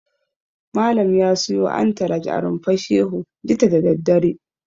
Malam ya siyo antalaj a Rumfar Shehu jita da daddare.